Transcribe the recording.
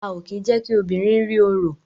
A o kí je kí obìnrin rí oro